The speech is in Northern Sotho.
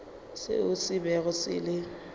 seo se bego se le